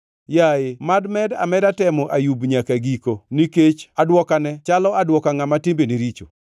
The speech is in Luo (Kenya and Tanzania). Yaye, mad med ameda temo Ayub nyaka giko nikech aduokane chalo aduoka ngʼama timbene richo.